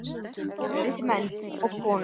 Og viti menn og konur.